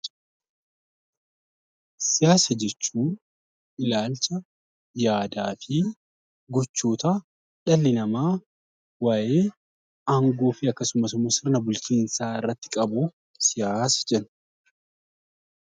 Siyaasa jechuun ilaalcha yaadaa fi gochoota dhalli namaa waa'ee aangoo fi akkasumas immoo bulchiinsaa irratti qabu 'Siyaasa' jenna.